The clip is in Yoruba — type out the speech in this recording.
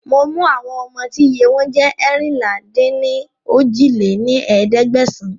Mo mú àwọn ọmọ tí iye wọn jẹ́ eérinlá-dín-ní-ojì lé ní ẹ̀ẹ́dẹ́gbẹ́sán